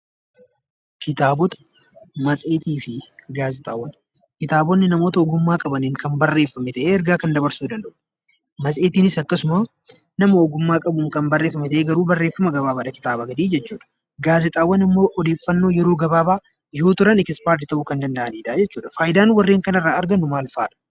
Kitaabotni namoota ogummaa qabaniin kan barreeffame ta'ee, ergaa kan dabarsuu danda'udha. Matseetiinis akkasuma nama ogummaa qabaniin kan barreeffame ta'ee garuu barreeffama gabaabaadha kitaabaa gadi jechuudha. Gaazexaawwan immoo odeeffannoo yeroo gabaabaa yoo turan 'expired' ta'uu kan danda'anidha jechuudha. Faayidaan warreen kanarraa maal fa'adha?